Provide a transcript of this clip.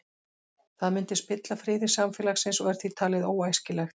Það myndi spilla friði samfélagsins og er því talið óæskilegt.